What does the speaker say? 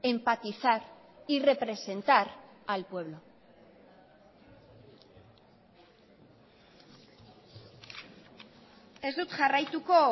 empatizar y representar al pueblo ez dut jarraituko